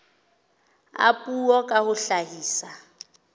a puo ka ho hlahisa